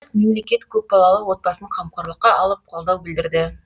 мемлекет көпбалалы отбасын қамқорлыққа алып қолдау білдірді